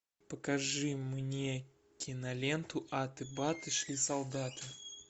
покажи мне киноленту аты баты шли солдаты